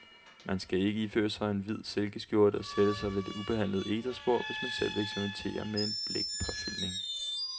Man skal ikke iføre sig sin hvide silkeskjorte og sætte sig ved det ubehandlede egetræsbord, hvis man selv vil eksperimentere med en blækpåfyldning.